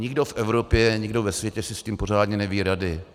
Nikdo v Evropě, nikdo ve světě si s tím pořádně neví rady.